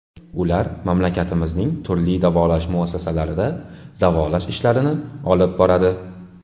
Ular mamlakatimizning turli davolash muassasalarida davolash ishlarini olib boradi.